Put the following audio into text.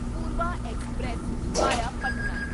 Purva express via Patna